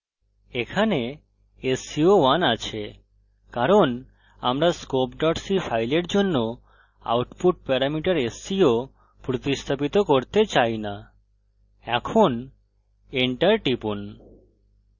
এখানে sco1 আছে কারণ আমরা scopec ফাইলের জন্য আউটপুট প্যারামিটার sco প্রতিস্থাপিত করতে চাই না এখন enter টিপুন